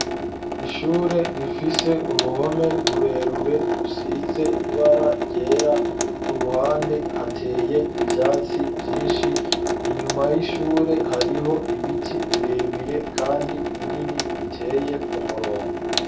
Ishure rifise uruhome rurerure rusize ibara ryera, ku ruhande hateye ivyatsi vyinshi, inyuma y'ishure hariho ibiti birebire kandi binini biteye ku murongo.